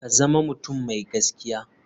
Ka zama mutum mai gaskiya.